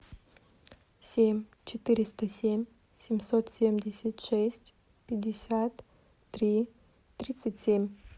семь четыреста семь семьсот семьдесят шесть пятьдесят три тридцать семь